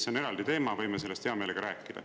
See on eraldi teema, võime sellest hea meelega rääkida.